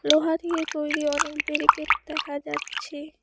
লোহা দিয়ে তৈরি অনেক বেরিকেট দেখা যাচ্ছে।